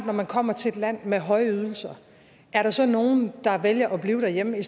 når man kommer til et land med høje ydelser er der så nogle der vælger at blive derhjemme i